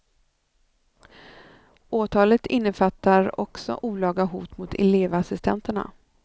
Åtalet innefattar också olaga hot mot elevassistenterna.